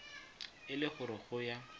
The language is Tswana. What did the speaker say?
e le gore go ya